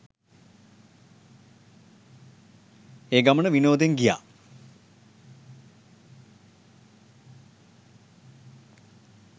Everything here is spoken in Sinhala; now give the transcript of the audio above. ඒ ගමන විනෝදෙන් ගියා.